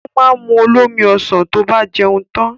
Ó ma mu olómi ọsàn tó bá jẹun tan